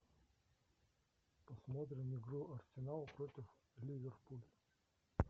посмотрим игру арсенала против ливерпуль